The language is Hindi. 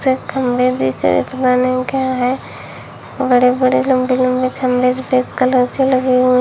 बड़े बड़े लंबे लंबे खंबे सफेद कलर के लगे हुए--